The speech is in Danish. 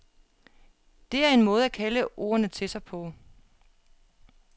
Det er en måde at kalde ordene til sig på.